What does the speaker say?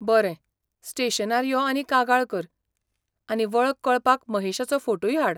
बरें, स्टेशनार यो आनी कागाळ कर, आनी वळख कळपाक महेशाचो फोटूय हाड.